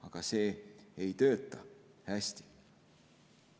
Aga see ei tööta hästi.